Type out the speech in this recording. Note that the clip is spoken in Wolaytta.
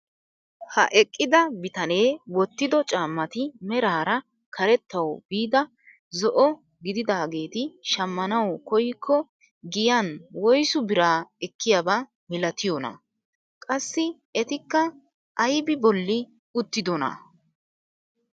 Ha eqqida bitanee wottido caammati meraara karettawu biida zo'o gididaageti shammanawu koyikko giyaan woysu biraa eekiyaaba milatiyoonaa? Qassi etikka aybi bolli uttidonaa?